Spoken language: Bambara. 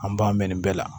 An b'an mɛn nin bɛɛ la